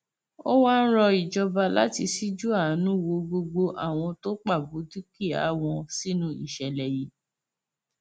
ó wáá rọ ìjọba láti ṣíjú àánú wo gbogbo àwọn tó pabù dúkìá wọn sínú ìṣẹlẹ yìí